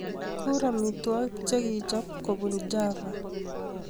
Kurr amitwogik chekichob kobun Java